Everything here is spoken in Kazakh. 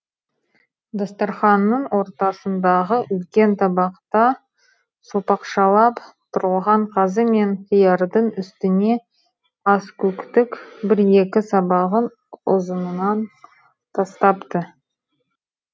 дастарханның ортасындағы үлкен табақта сопақшалап турылған қазы мен қиярдың үстіне аскөктік бір екі сабағын ұзынынан тастапты